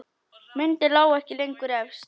Myndin lá ekki lengur efst.